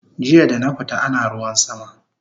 Jiya dana fita ana ruwan sama